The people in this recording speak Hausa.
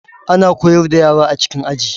Ana koyar da yara a cikin Aji